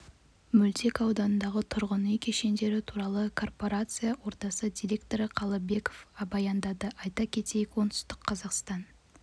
мөлтек ауданындағы тұрғын үй кешендері туралы корпарация ордасы директоры қалыбеков баяндады айта кетейік оңтүстік қазақстан